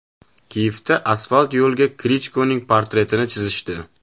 Kiyevda asfalt yo‘lga Klichkoning portretini chizishdi.